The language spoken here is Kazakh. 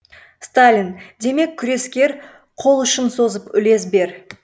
сталин демек күрескер қол ұшын созып үлес бер